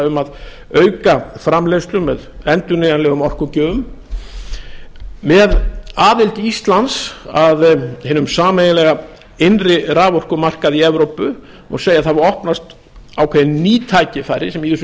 um að auka framleiðslu með endurnýjanlegum orkugjöfum með aðild íslands að hinum sameiginlega innri raforkumarkaði í evrópu má segja að það hafi opnast ákveðin ný tækifæri sem í þessu